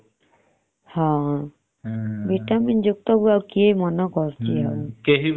vitamin ଯୁକ୍ତ କୁ ଆଉ କିଏ ମନ କରୁଛି